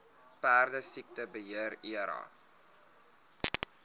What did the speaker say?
perdesiekte beheer area